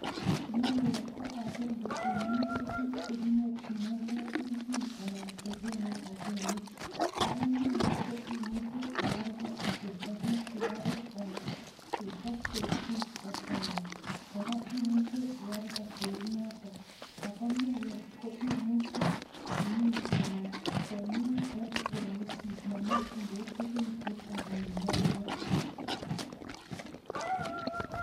Miwek ko agenge eng minutik chekinyoryinengei kelchin anan chekonu rabinik, kora miwek imuche ialdee kechoben sugaruk anan kechob koik juice akialda, kora imuche ialdee kounotok, ako miwek imuche imin en nyumnyumindo momokyingei tuguk chechang minenywan